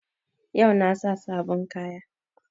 Yau na sa sabon kaya